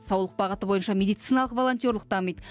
саулық бағыты бойынша медициналық волонтерлік дамиды